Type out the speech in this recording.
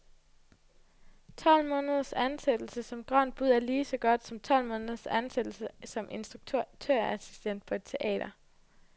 Tolv måneders ansættelse som grønt bud er lige så godt som tolv måneders ansættelse som instruktørassistent på et teater.